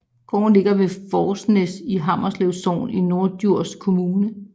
Gården ligger ved Fornæs i Hammelev Sogn i Norddjurs Kommune